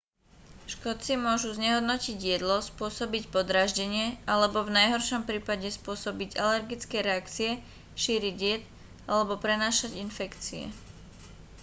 škodci môžu znehodnotiť jedlo spôsobiť podráždenie alebo v najhoršom prípade spôsobiť alergické reakcie šíriť jed alebo prenášať infekcie